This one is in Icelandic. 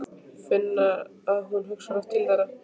Finna að hún hugsar oft til þeirra.